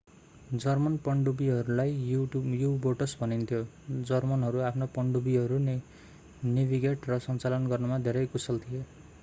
German पनडुब्बीहरूलाई U boats भनिन्थ्यो जर्मनहरू आफ्ना पनडुब्बीहरू नेभिगेट र सञ्चालन गर्नमा धेरै कुशल थिए